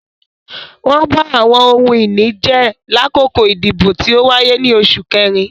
Wọn ba awọn ohun-ini jẹ lakoko idibo ti o waye ni Oṣu Kẹrin